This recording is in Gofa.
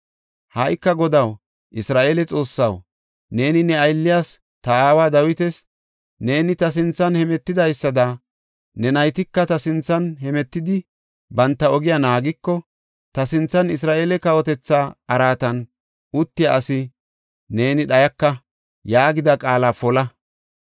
“Ha77ika Godaw, Isra7eele Xoossaw, neeni ne aylliyas, ta aawa Dawitas, ‘Neeni ta sinthan hemetidaysada ne naytika ta sinthan hemetidi banta ogiya naagiko, ta sinthan Isra7eele kawotetha araatan uttiya asi neeni dhayaka’ yaagida qaala pola.